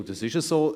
Und das ist so.